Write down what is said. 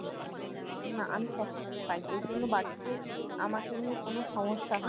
না আমি সবকিছু খাই ঐজন্য বাড়িতে আমাকে নিয়ে কোনো সমস্যা